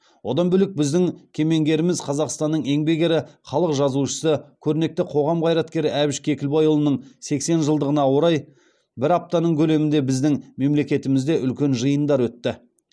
одан бөлек біздің кемеңгеріміз қазақстанның еңбек ері халық жазушысы көрнекті қоғам қайраткері әбіш кекілбайұлының сексен жылдығына орай бір аптаның көлемінде біздің мемлекетімізде үлкен жиындар өтті